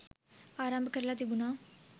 ආරම්භ කරලා තිබුණා.